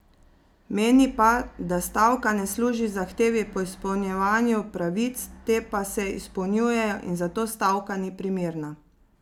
Meni pa, da stavka ne služi zahtevi po izpolnjevanju pravic, te pa se izpolnjujejo in zato stavka ni primerna.